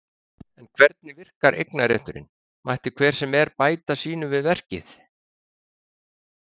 En hvernig virkar eignarétturinn, mætti hver sem er bæta sínu við verkið?